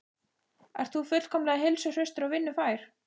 Ert þú fullkomlega heilsuhraustur og vinnufær?